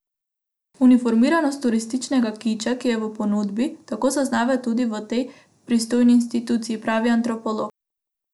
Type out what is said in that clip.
Uniformiranost turističnega kiča, ki je v ponudbi, tako zaznavajo tudi v tej pristojni instituciji, pravi antropolog.